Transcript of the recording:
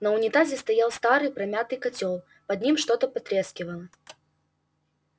на унитазе стоял старый помятый котёл под ним что-то потрескивало